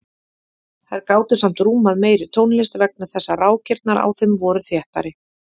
Þær gátu samt rúmað meiri tónlist vegna þess að rákirnar á þeim voru þéttari.